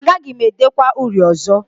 Agaghị m edekwa uri ọzọ